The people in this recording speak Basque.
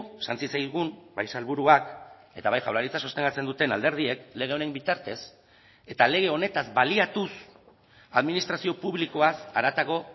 esan zitzaigun bai sailburuak eta bai jaurlaritza sostengatzen duten alderdiek lege honen bitartez eta lege honetaz baliatuz administrazio publikoaz haratago